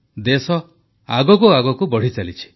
ଦେଶ ଆଗକୁ ଆଗକୁ ବଢ଼ିଚାଲିଛି